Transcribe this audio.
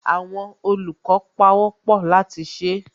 Àwọn olùkọ́ pawọ́pọ̀ láti ṣe